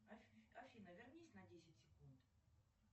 афина вернись на десять секунд